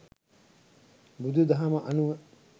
බුදු දහම අනුව